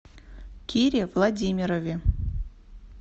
кире владимирове